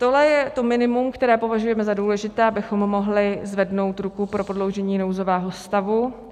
Tohle je to minimum, které považujeme za důležité, abychom mohli zvednout ruku pro prodloužení nouzového stavu.